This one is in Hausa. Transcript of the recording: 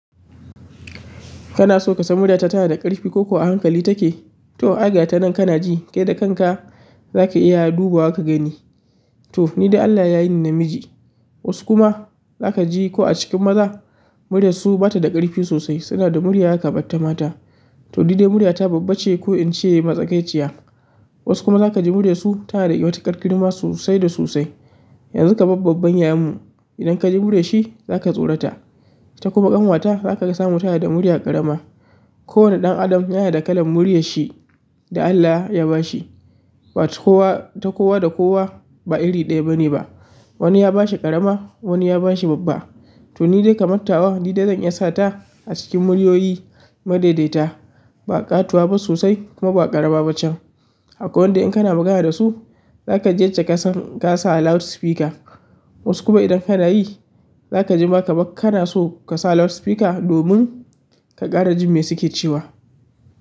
Kana so ka san murya ta tana da ƙarfi ko ko a hankali take? To ai ga ta nan kana ji, kai da kanka za ka iya duba wa ka gani. To nidai Allah ya yi ni namiji. Wasu kuma za ka ji ko a cikin maza, muryarsu ba ta da ƙarfi sosai. Suna da murya ya kamar ta mata. To ni dai murya ta babba ce ko in ce matsakaiciya. Wasu kuma za ka ji muryarsu tana da matuƙar girma sosai da sosai. Yanzu kamar babban yayanmu, idan ka ji muryar shi, za ka tsorata. Ita kuma ƙanwata za ka ga samu tana da murya ƙarama. Kowane ɗan adam yana da kalan muryar shi da Allah ya ba shi. Ba ta kowa ta kowa da kowa ba iri ɗaya bane ba. Wani ya ba shi ƙarama, wani ya ba shi babba. To ni dai kamar tawa, ni dai zan iya sa ta a cikin muryoyi madaidaita. Ba ƙatuwa ba sosai kuma ba ƙarama ba can. Akwai wanda in kana magana da su, za ka ji yacce ka san ka sa a loudspeaker. Wasu kuma idan kana yi, za ka ji ba kamar kana so ka sa loudspeaker domin ka ƙara jin me suke cewa.